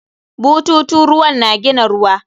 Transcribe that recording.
Bututun ruwan na gina ruwa.